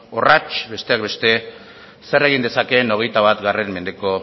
orratz besteak beste zer egin dezakeen hogeita bat mendeko